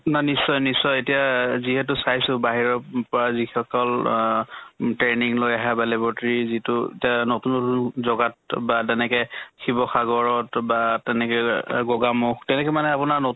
মা নিশ্চয় নিশ্চয় এতিয়া যিহেতু চাইছো বাহিৰত উ পৰা যি সকল আহ training লৈ আহে বা laboratory যিটো এতিয়া নতুন ৰু জগাত বা তেনেকে শিৱ্সাগৰত বা তেনেকে অহ গগামুখ তেনেকে মানে আপোনাৰ নতুন